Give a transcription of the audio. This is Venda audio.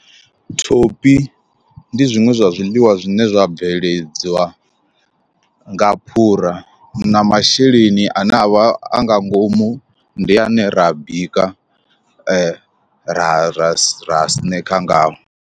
Thophi ndi zwiṅwe zwa zwiḽiwa zwine zwa bveledzwa nga phura, na masheleni ane avha a nga ngomu ndi ane ra bika ra ra snekha ngao.